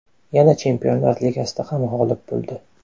Yana Chempionlar Ligasida ham g‘olib bo‘ldi.